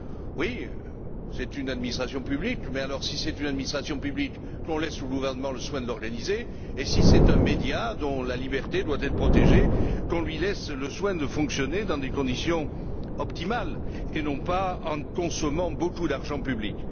Oui, c'est une administration publique, mais alors, si tel est le cas, qu'on laisse au gouvernement le soin de l'organiser, et si c'est un média dont la liberté doit être protégée, qu'on lui laisse le soin de fonctionner dans des conditions optimales, et non pas en consommant beaucoup d'argent public.